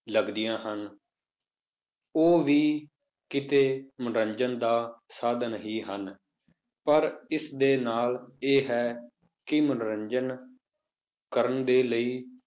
ਲੱਗਦੀਆਂ ਹਨ ਉਹ ਵੀ ਕਿਤੇ ਮਨੋਰੰਜਨ ਦਾ ਸਾਧਨ ਹੀ ਹਨ, ਪਰ ਇਸਦੇ ਨਾਲ ਇਹ ਹੈ ਕਿ ਮਨੋਰੰਜਨ ਕਰਨ ਦੇ ਲਈ,